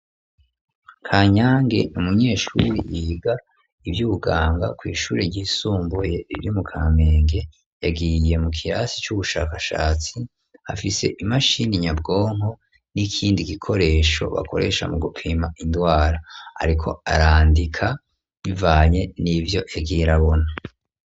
Kanyange umunyeshuri yiga iby'ubganga ku ishuri ry'isumbuye ibyimu kamenge yagiriye mu kirasi c'ubushakashatsi hafise imashini nyabwonko n'ikindi gikoresho bakoresha mu gupima indwara ariko arandika bivanye n'ivyo yagere abona.